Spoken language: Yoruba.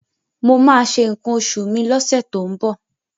Mo máa ṣe nǹkan oṣù mi lọ́sẹ̀ tó ń bọ̀.